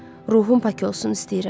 Ruhum pak olsun istəyirəm.